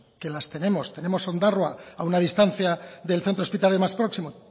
que las tenemos tenemos ondarroa a una distancia del centro hospitalario más próximo